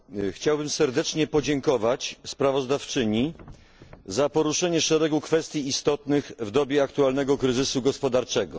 Chciałbym serdecznie podziękować sprawozdawczyni za poruszenie szeregu kwestii istotnych w dobie aktualnego kryzysu gospodarczego.